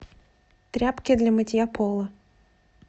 тряпки для мытья пола